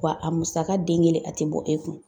Wa a musaka den kelen a tɛ bɔ e kun.